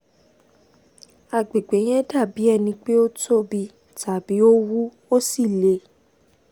agbègbè yẹn dàbí ẹni pé ó tóbi tàbí ó wú ó sì le